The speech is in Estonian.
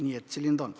Nii et selline ta on.